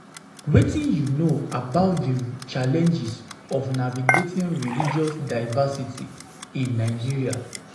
Wetin you know about di challenges of navigating religious diversity in Nigeria?